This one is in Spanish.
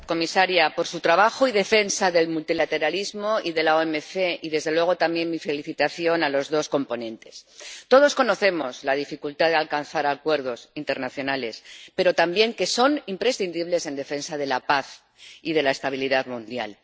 Señor presidente. Muchas gracias, señora comisaria por su trabajo y defensa del multilateralismo y de la OMC, y desde luego, también mi felicitación a los dos coponentes. Todos conocemos la dificultad de alcanzar acuerdos internacionales, pero también que son imprescindibles en defensa de la paz y de la estabilidad mundial.